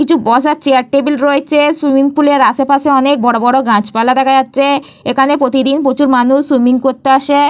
কিছু বসার chair table রয়েছে সুইমিং পুল এর আশপাশে অনেক বড় বড় গাছপালা দেখা যাচ্ছে এখানে প্রতিদিন প্রচুর মানুষ সুইমিং করতে আসে।